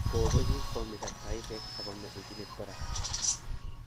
kopegu, komisag taisheg agomee injinit kora